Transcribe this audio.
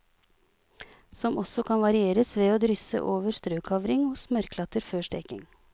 Som også kan varieres ved å drysse over strøkavring og smørklatter før steking.